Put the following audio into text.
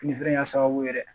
Fini feere in y'a sababu ye dɛ